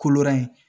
Kolo ye